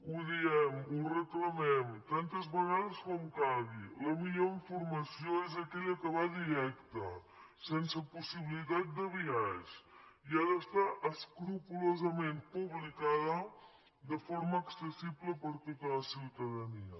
ho diem ho reclamem tantes vegades com calgui la millor informació és aquella que va directa sense possibilitat de biaix i ha d’estar escrupolosament publicada de forma accessible per tota la ciutadania